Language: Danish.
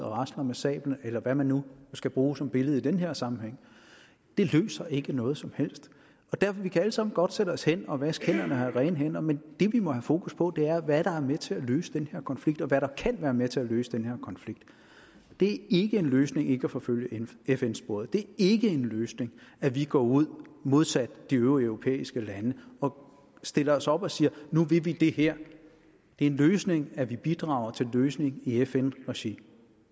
rasler med sablen eller hvad man nu skal bruge som billede i den her sammenhæng det løser ikke noget som helst vi kan alle sammen godt sætte os hen og vaske hænder og have rene hænder men det vi må have fokus på er hvad der er med til at løse den her konflikt og hvad der kan være med til at løse den her konflikt det er ikke en løsning ikke at forfølge fn sporet det er ikke en løsning at vi går ud modsat de øvrige europæiske lande og stiller os op og siger at nu vil vi det her det er en løsning at vi bidrager til en løsning i fn regi